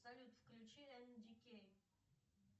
салют включи энди кейн